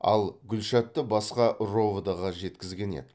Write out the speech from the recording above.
ал гүлшатты басқа ровд ға жеткізген еді